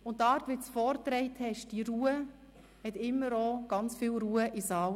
Und die ruhige Art, wie du die Inhalte vorgetragen hast, hat immer auch sehr viel Ruhe in den Saal gebracht.